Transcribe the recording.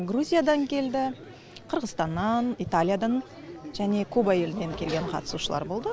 грузиядан келді қырғызстаннан италиядан және куба елінен келген қатысушылар болды